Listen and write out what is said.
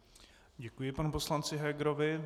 Děkuji panu poslanci Hegerovi.